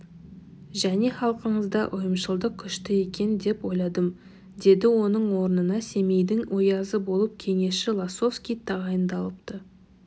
және халқыңызда ұйымшылдық күшті екен деп ойладым деді оның орнына семейдің оязы болып кеңесші лосовский тағайындалыпты